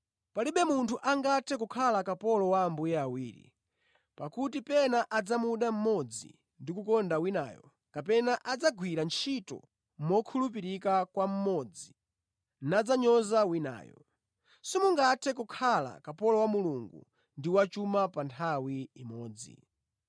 “Palibe munthu angathe kukhala kapolo wa ambuye awiri. Pakuti pena adzamuda mmodzi ndi kukonda winayo kapena adzagwira ntchito mokhulupirika kwa mmodzi, nadzanyoza winayo. Simungathe kukhala kapolo wa Mulungu ndi wa chuma pa nthawi imodzi.